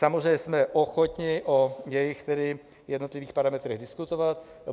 Samozřejmě jsme ochotni o jejích jednotlivých parametrech diskutovat.